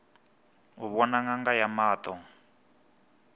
u vhona ṅanga ya maṱo